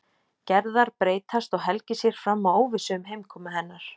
Gerðar breytast og Helgi sér fram á óvissu um heimkomu hennar.